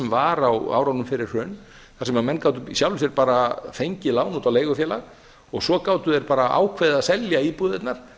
var á árunum fyrir hrun þar sem menn gátu í sjálfu sér bara fengið lán út á leigufélag og svo gátu þeir bara ákveðið að selja íbúðirnar